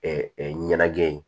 ɲɛnajɛ ye